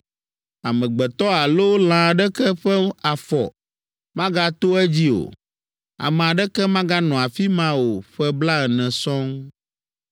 Amegbetɔ alo lã aɖeke ƒe afɔ magato edzi o. Ame aɖeke maganɔ afi ma o ƒe blaene sɔŋ.